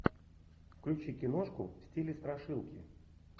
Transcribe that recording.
включи киношку в стиле страшилки